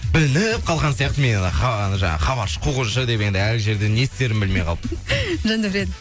білініп қалған сияқты мен ана жаңағы хабаршы қуғыншы деп енді әр жерден не істерімді білмей қалып жандәурен